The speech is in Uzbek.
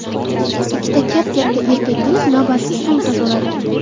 Ikkita kap-katta erkak kelib, navbatsiz somsa so‘radi.